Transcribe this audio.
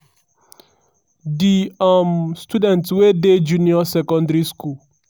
di um students wey dey junior secondary school